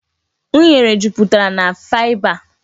Unere jupụtara na faịba.